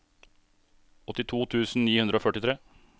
åttito tusen ni hundre og førtitre